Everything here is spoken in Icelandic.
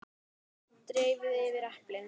Dreifið yfir eplin.